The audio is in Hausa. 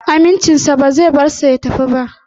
Amincinsa ba zai bar shi ya tafi ba